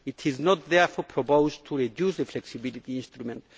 It is not therefore proposed to reduce the flexibility instrument.